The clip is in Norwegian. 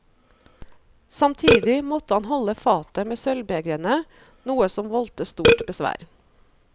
Samtidig måtte han holde fatet med sølvbegrene, noe som voldte stort besvær.